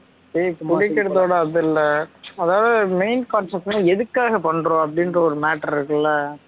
ஏய் புடிக்குறதோட அது இல்லை அதாவது main concept னா எதுக்காக பண்றோம் அப்படின்ற ஒரு matter இருக்குல